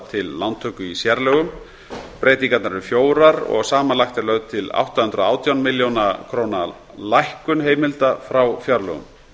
til lántöku í sérlögum breytingarnar eru fjórar og samanlagt er lögð til átta hundruð og átján milljóna króna lækkun heimilda frá fjárlögum